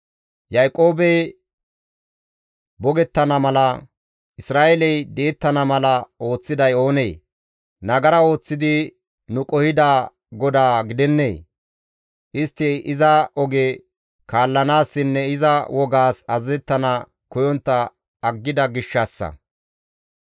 Yaaqoobey bogettana mala, Isra7eeley di7ettana mala ooththiday oonee? Nagara ooththidi nu qohida GODAA gidennee? Istti iza oge kaallanaassinne iza wogaas azazettana koyontta aggida gishshassa.